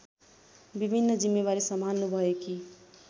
विभिन्न जिम्मेवारी सम्हाल्नुभएकी